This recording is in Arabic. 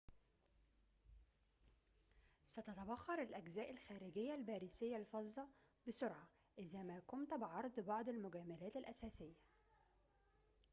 ستتبخر الأجزاء الخارجية الباريسية الفظة بسرعة إذا ما قمت بعرض بعض المجاملات الأساسية